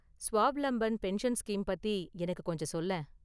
Swavalamban pension scheme பத்தி எனக்கு கொஞ்சம் சொல்லேன்.